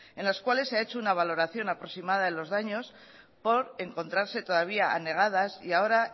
en las cuales se ha hecho una valoración aproximada de los daños por encontrarse todavía anegadas y ahora